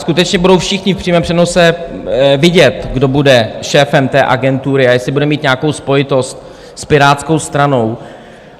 Skutečně budou všichni v přímém přenose vidět, kdo bude šéfem té agentury a jestli bude mít nějakou spojitost s Pirátskou stranou.